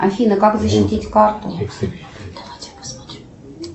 афина как защитить карту